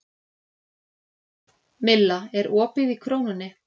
Milla, er opið í Krónunni?